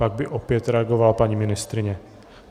Pak by opět reagovala paní ministryně.